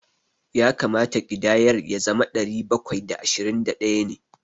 Ya kamata ƙidayar ya zama ɗari bakwai da ashirin da ɗaya ne.